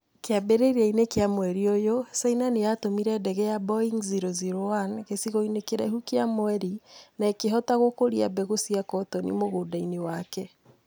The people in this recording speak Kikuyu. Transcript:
Kĩambĩrĩria-inĩ kĩa mweri ũyũ, China nĩ yatũmire ndege ya Boeng-001 gĩcigo-inĩ kĩraihu gĩa mweri na ĩkĩhota gũkũria mbeũ cia cotoni mũgũnda-ĩnĩ wake